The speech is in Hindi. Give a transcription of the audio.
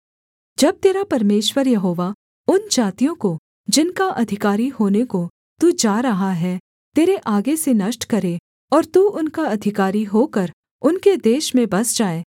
जब तेरा परमेश्वर यहोवा उन जातियों को जिनका अधिकारी होने को तू जा रहा है तेरे आगे से नष्ट करे और तू उनका अधिकारी होकर उनके देश में बस जाए